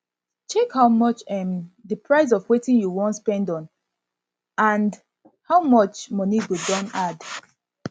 check how much um di price of wetin you wan spend on and how much money go don add